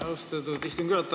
Austatud istungi juhataja!